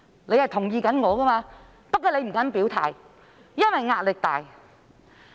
你是同意我的，但你不敢表態，因為壓力大。